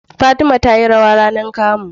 Fatima tayi rawa rAnar kamu